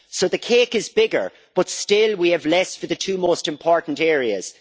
So the cake is bigger, but still we have less for the two most important areas.